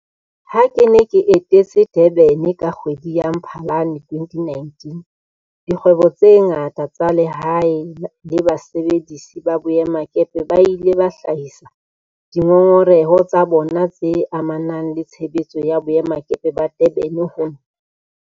Ha ke ne ke etetse Durban ka kgwedi ya Mphalane 2019, dikgwebo tse ngata tsa lehae le basebedisi ba boemakepe ba ile ba hlahisa dingongoreho tsa bona tse amanang le tshebetso ya boemakepe ba Durban ho nna.